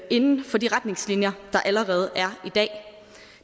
inden for de retningslinjer der allerede er i dag